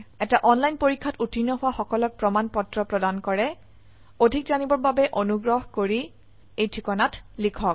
এটা অনলাইন পৰীক্ষাত উত্তীৰ্ণ হোৱা সকলক প্ৰমাণ পত্ৰ প্ৰদান কৰে অধিক জানিবৰ বাবে অনুগ্ৰহ কৰি contactspoken tutorialorg এই ঠিকনাত লিখক